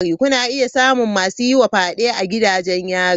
Kuna iya samun masu yi wa fyade a gidajen yari.